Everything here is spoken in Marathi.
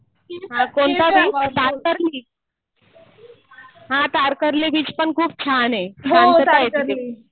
हा कोणता बीच कातर बीच. हा कातरली बीच पण खूप छान आहे. शांतता आहे तिथे.